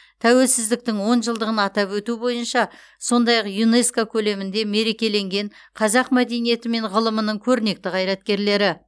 тәуелсіздіктің он жылдығын атап өту бойынша сондай ақ юнеско көлемінде мерекеленген қазақ мәдениеті мен ғылымының көрнекті қайраткерлері